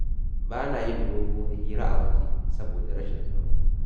Ba na yin doguwar hira a waje saboda rashin tsaro.